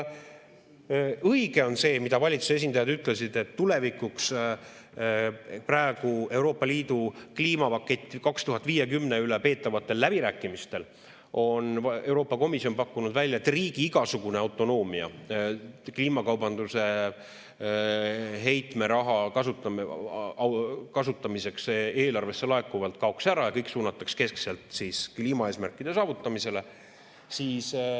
Õige on see, mida valitsuse esindajad ütlesid, et tulevikuks praegu Euroopa Liidu kliimapaketi 2050 üle peetavatel läbirääkimistel on Euroopa Komisjon pakkunud välja, et riigi igasugune autonoomia kliimakaubanduse heitmeraha kasutamiseks eelarvesse laekuvalt kaoks ära ja kõik suunatakse keskselt kliimaeesmärkide saavutamisele.